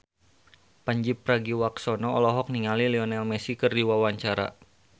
Pandji Pragiwaksono olohok ningali Lionel Messi keur diwawancara